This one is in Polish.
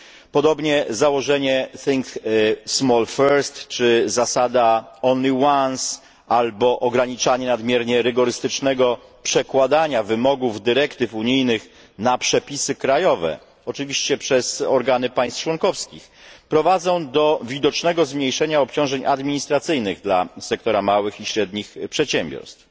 Podobnie założenie think small first czy zasada only once albo ograniczanie nadmiernie rygorystycznego przekładania wymogów dyrektyw unijnych na przepisy krajowe, oczywiście przez organy państw członkowskich, prowadzą do widocznego zmniejszenia obciążeń administracyjnych dla sektora małych i średnich przedsiębiorstw.